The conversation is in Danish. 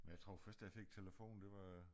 Men jeg tror først jeg fik telefon det var